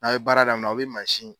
Aw ye baara daminɛ aw bɛ mansin.